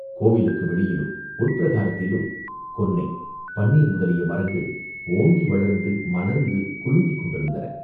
கோவிலுக்கு வெளியிலும், உட்பிரகாரத்திலும் கொன்னை, பன்னீர் முதலிய மரங்கள் ஓங்கி வளர்ந்து மலர்ந்து குலுங்கிக் கொண்டிருந்தன.